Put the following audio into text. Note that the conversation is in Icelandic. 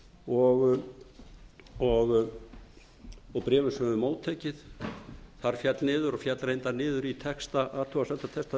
og bréfum sem við höfum móttekið það féll niður og féll reyndar niður í athugasemdatexta bréf sem nefndin sendi